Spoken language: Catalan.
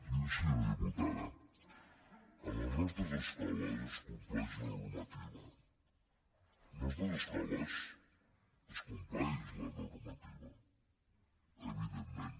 miri senyora diputada a les nostres escoles es compleix la normativa a les nostres escoles es compleix la normativa evidentment